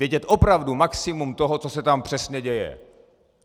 Vědět opravdu maximum toho, co se tam přesně děje.